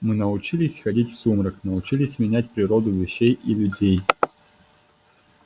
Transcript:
мы научились ходить в сумрак научились менять природу вещей и людей